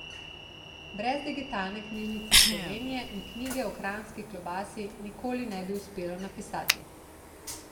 Brez Digitalne knjižnice Slovenije mi knjige o kranjski klobasi nikoli ne bi uspelo napisati.